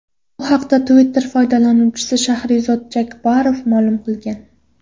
Bu haqda Twitter foydalanuvchisi Shahrizod Jakbarov ma’lum qilgan .